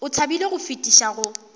o thabile go fetiša go